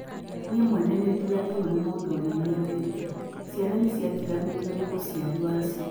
"Niĩ mwene nĩ ndiganĩirio nĩ mũndũ ũrĩa nyendete, ciana nĩ ciatiganĩrio nĩ mũciari wacio.